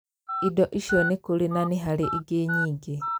Indo icio nĩ kũrĩ na nĩ harĩ ingĩ nyingĩ